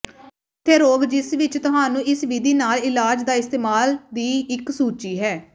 ਉੱਥੇ ਰੋਗ ਜਿਸ ਵਿੱਚ ਤੁਹਾਨੂੰ ਇਸ ਵਿਧੀ ਨਾਲ ਇਲਾਜ ਦਾ ਇਸਤੇਮਾਲ ਦੀ ਇੱਕ ਸੂਚੀ ਹੈ